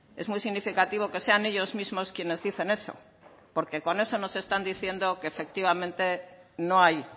es muy significativo que sean ellos mismos quienes dicen eso porque con eso nos están diciendo que efectivamente no hay